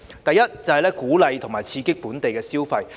第一，是鼓勵和刺激本地消費。